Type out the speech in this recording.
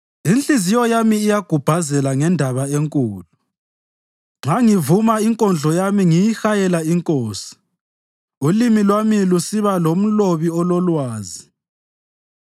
Inhliziyo yami iyagubhazela ngendaba enkulu nxa ngivuma inkondlo yami ngiyihayela inkosi; ulimi lwami lusiba lomlobi ololwazi.